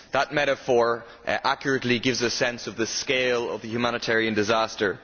That metaphor accurately gives a sense of the scale of the humanitarian disaster.